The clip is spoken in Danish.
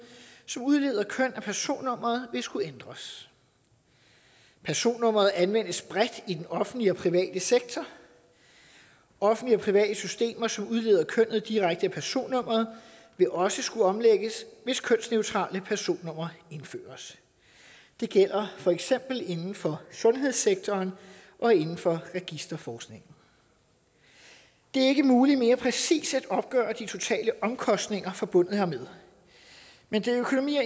som udleder køn af personnummeret vil skulle ændres personnummeret anvendes bredt i den offentlige og private sektor offentlige og private systemer som udleder kønnet direkte af personnummeret vil også skulle omlægges hvis kønsneutrale personnumre indføres det gælder for eksempel inden for sundhedssektoren og inden for registerforskningen det er ikke muligt mere præcist at opgøre de totale omkostninger forbundet hermed men det er økonomi og